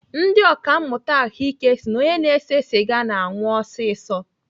Ndị ọkàmmụta ahụike si na onye na-ese sịga na-anwụ ọsịsọ.